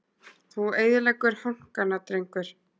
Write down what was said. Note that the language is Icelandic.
Þú eyðileggur hankana drengur!